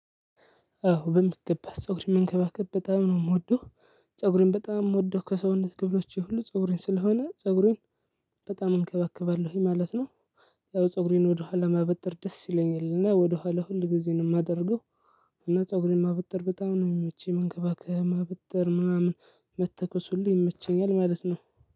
አዎ በሚገባ ፀጉሬን መንከባከብ በጣም ነው የምወደው ፀጉሬን በጣም የምወደው ከሰውነት ክፍሎቼ የሁሉ ፀጉሬን ስለሆነ ፀጉሬን በጣም እንከባከባለሁኝ ማለት ነው። ያው ፀጉሬን ወደኋላ ማበጠር ደስ ይለኛል ወደኋላ ሁል ጊዜን የማደርገው። እና ፀጉሬን ማበጠር በጣም ነው የሚመቸኝ መንከባከብ ማበጠር ምናምን መተኮስ ሁሉ ይመቸኛል ማለት ነው።